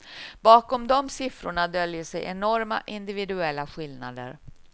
Bakom de siffrorna döljer sig enorma individuella skillnader.